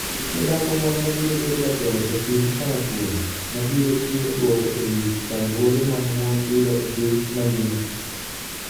Be nitie dhako moro ma biro bedo jatelo e piny karachuonyo mabiro chiwo dwoko e wi chandruoge ma mon yudo e piny mangima?